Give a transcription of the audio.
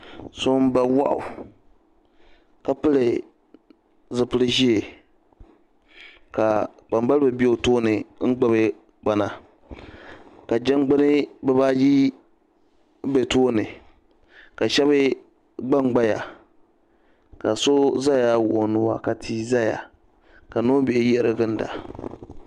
So n ba wahu ka pili zupili zɛɛ ka kpambaliba bɛ o tooni n gbubi gbana ka jɛmgbuni biba ayi bɛ tooni ka shɛba gba n gbaya ka so zaya wuɣi nua ka tii zaya ka noombihi yiɣiri ginda.